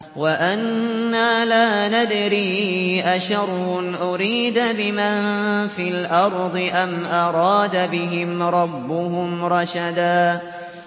وَأَنَّا لَا نَدْرِي أَشَرٌّ أُرِيدَ بِمَن فِي الْأَرْضِ أَمْ أَرَادَ بِهِمْ رَبُّهُمْ رَشَدًا